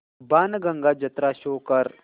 बाणगंगा जत्रा शो कर